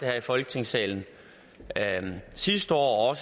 her i folketingssalen sidste år og